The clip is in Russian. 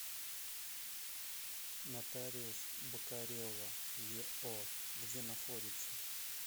нотариус бокарева ео где находится